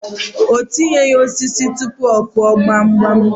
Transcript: O tinyeghi osisi tụpụ ọ Kụọ gbamgbam.